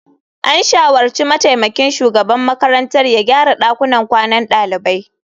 An shawarci mataimakin shugaban makarantar ya gyara dakunan kwanan dalibai.